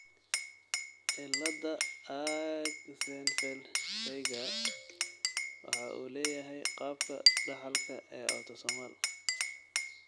cilada Axenfeld Rieger waxa uu leeyahay qaabka dhaxalka ee autosomal.